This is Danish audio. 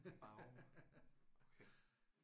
Vove okay